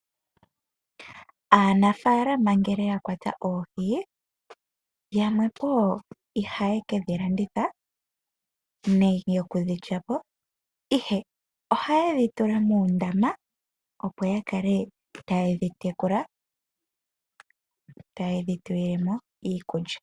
Aanafaalama ngele yakwata oohi, yamwe ihaye kedhi landitha nenge okudhi lya po ihe ohaye dhi tula moondama opo yakale taye dhi tekula, taye dhi tulile mo iikulya.